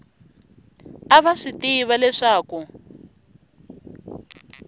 a va swi tiva leswaku